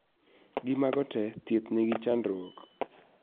Gi mago tee, thiedh nigi chandruok